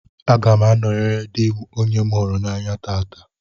Aga m anọyere dị m onye m hụrụ n'anya taata.